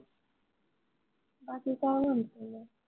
बाकी काय म्हनतो मग?